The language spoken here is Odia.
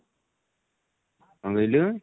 କଣ କହିଲୁ?